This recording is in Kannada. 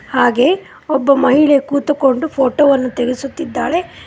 ಹಾಗೆ ಒಬ್ಬ ಮಹಿಳೆ ಕೂತುಕೊಂಡು ಫೋಟೋ ವನ್ನು ತೆಗೆಸುತ್ತಿದ್ದಾಳೆ.